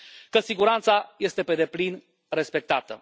că siguranța este pe deplin respectată.